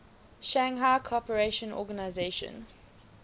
shanghai cooperation organization